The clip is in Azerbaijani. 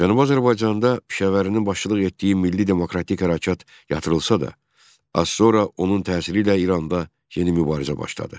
Cənubi Azərbaycanda Pişəvərinin başçılıq etdiyi milli-demokratik hərəkat yatırılsa da, az sonra onun təsiri ilə İranda yeni mübarizə başladı.